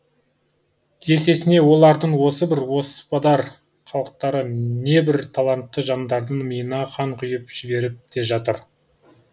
есесіне олардың осы бір оспадар қылықтары небір талантты жандардың миына қан құи ып жіберіп те жатыр